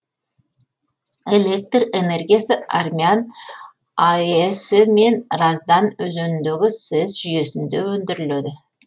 электр энергиясы армян аэс і мен раздан өзеніндегі сэс жүйесінде өндіріледі